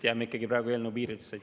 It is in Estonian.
Jääme praegu ikkagi eelnõu piiridesse.